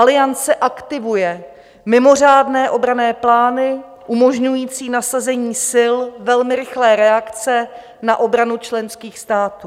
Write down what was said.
Aliance aktivuje mimořádné obranné plány umožňující nasazení sil velmi rychlé reakce na obranu členských států.